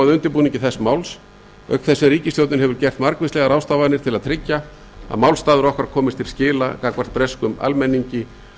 undirbúningi þess máls auk þess sem ríkisstjórnin hefur gert margvíslegar ráðstafanir til að tryggja að málstaður okkar komist til skila gagnvart breskum almenningi